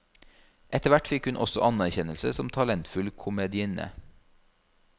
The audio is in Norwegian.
Etterhvert fikk hun også anerkjennelse som talentfull komedienne.